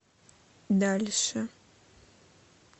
дальше